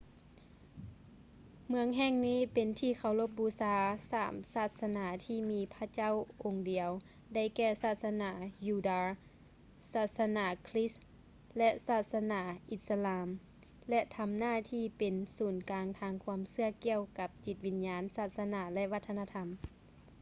ເມືອງແຫ່ງນີ້ເປັນທີ່ເຄົາລົບບູຊາຂອງສາມສາສະໜາທີ່ມີພະເຈົ້າອົງດຽວ ໄດ້ແກ່ ສາສະໜາຢູດາ ສາສະໜາຄຼິດ ແລະ ສາສະໜາອິດສະລາມ ແລະ ທຳໜ້າທີ່ເປັນເປັນສູນກາງທາງຄວາມເຊື່ອກ່ຽວກັບຈິດວິນຍານ ສາສະໜາ ແລະ ວັດທະນະທຳ